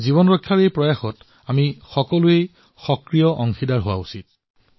জীৱন ৰক্ষাৰ এই প্ৰয়াসসমূহত আমি সকলোৱে সক্ৰিয়ভাৱে অংশীদাৰ হব লাগে